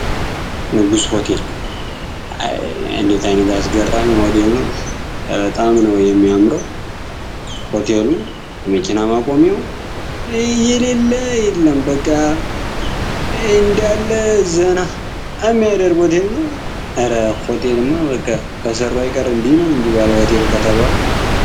ንጉስ ሆቴል እንዴት ዓይነት አስገራሚ ሆቴል ነው። በበጣም ነው የሚያምረው ሆቴሉ የመኪና ማቆሚያው የሌለ የለም በቃ እንዲያለ ዘና ሚያደርግ ሆቴል ነው። እረ ሆቴልማ በቃ ከሰሩ አይቀር እንዲህ ነው እንጂ ባል ሆቴል ከተባሉ።